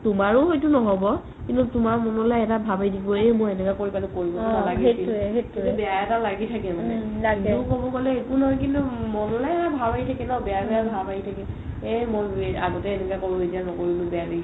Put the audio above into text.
তোমাৰও সেইটো নহ'ব কিন্তু তুমাৰ মনলৈ এটা ভাব আহিব এই মই এনেকুৱা কৰি পেলালো কৰিব নালাগিছিল কিন্তু বেয়া এটা লাগি থাকে মানে একো নহয় কিন্তু মনলৈ এটা ভাব আহি থাকে ন এটা বেয়া বেয়া ভাব আহি থাকে এই মই আগতে এনেকুৱা কৰো এতিয়া নকৰিলো